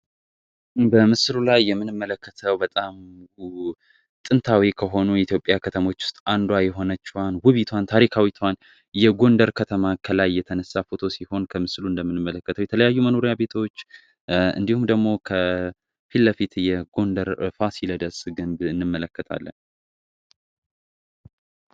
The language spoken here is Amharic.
በምስሉ ላይ የምንመለከተው በጣም ጥንታዊ ከሆኑ የኢትዮጵያ ከተሞች ውስጥ አንዷ የሆነችዋን ውቢቷን ታሪካዊቷን የጎንደር ከተማ ከላይ እየተነሳ ፎቶ ሲሆን ከምስሉ እንደምንመለከተው የተለያዩ መኖሪያ ቤተዎች እንዲሁም ደግሞ ከፊት ለፊት እየጎንደር ፋሲለ ደስ ግን እንመለከታለ።